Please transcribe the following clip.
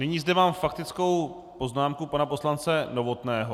Nyní zde mám faktickou poznámku pana poslance Novotného.